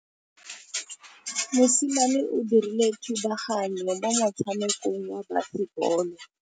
Mosimane o dirile thubaganyô mo motshamekong wa basebôlô.